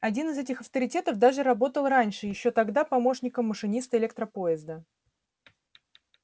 один из этих авторитетов даже работал раньше ещё тогда помощником машиниста электропоезда